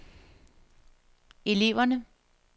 eleverne